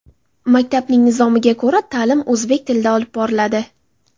Maktabning nizomiga ko‘ra, ta’lim o‘zbek tilida olib boriladi.